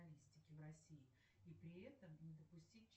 джой выключи смал